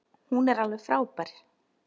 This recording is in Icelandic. Hún er alveg frábær.